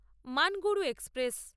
মানগুরু express